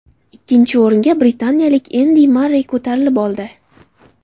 Ikkinchi o‘ringa britaniyalik Endi Marrey ko‘tarilib oldi.